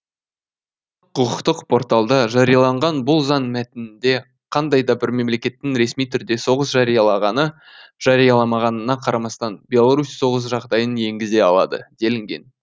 құқықтық порталда жарияланған бұл заң мәтінінде қандай да бір мемлекеттің ресми түрде соғыс жариялағаны жарияламағанына қарамастан беларусь соғыс жағдайын енгізе алады делінген